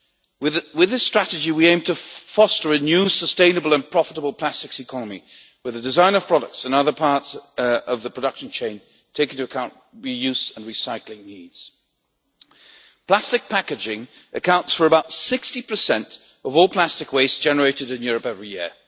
With this strategy, we aim to foster a new, sustainable and profitable plastics economy, with the design of products and other parts of the production chain taking into account re use and recycling needs. Plastic packaging accounts for about 60 of all plastic waste generated in Europe every year.